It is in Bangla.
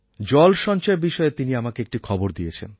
জল সঞ্চয় বিষয়ে তিনি আমাকে একটি খবর দিয়েছেন